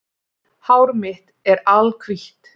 Hár mitt er alhvítt